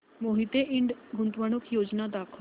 मोहिते इंड गुंतवणूक योजना दाखव